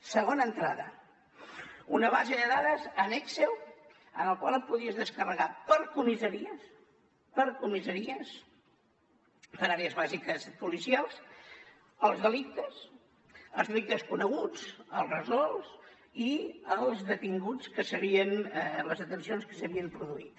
segona entrada una base de dades en excel en el qual et podies descarregar per comissaries per comissaries per àrees bàsiques policials els delictes els delictes coneguts els resolts i les deten cions que s’havien produït